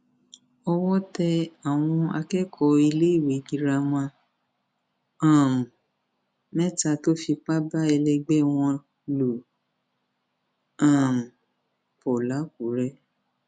owó tẹ àwọn akẹkọọ iléèwé girama um mẹta tó fipá bá ẹlẹgbẹ wọn lò um pọ làkúrẹ